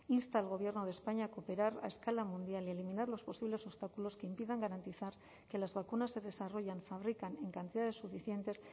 insta al gobierno de españa a cooperar a escala mundial y eliminar los posibles obstáculos que impidan garantizar que las vacunas se desarrollan fabrican en cantidades suficientes